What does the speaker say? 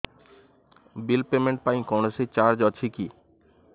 bill payment ପାଇଁ କୌଣସି charge ଅଛି କି